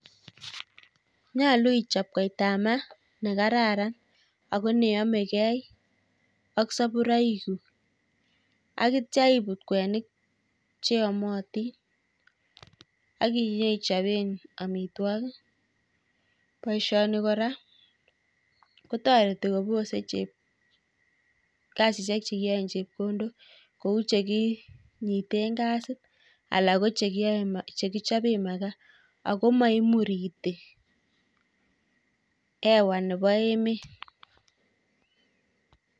Nyolu ichop koita ap mat nekararan ako neyamegei ak saburoik chu akitcha ibut kwenik cheamatin akinyeichobe amitwogik. boisioni kora kotoreti kasisiek chekiyae ing' chepkondok kou chekinyiten gasit alak ko chekiyae chekichobe makaa ako maimurite hewa nebo emet